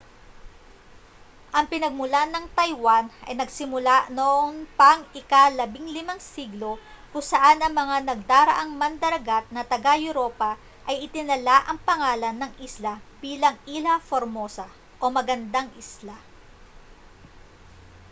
ang pinagmulan ng taiwan ay nagsimula noon pang ika-15 siglo kung saan ang mga nagdaraang mandaragat na taga-europa ay itinala ang pangalan ng isla bilang ilha formosa o magandang isla